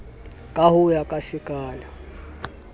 ka ho ya ka sekala